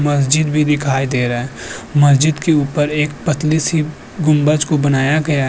मस्जिद भी दिखाई दे रहा है। मस्जिद के ऊपर एक पतली सी गुंबज को बनाया गया --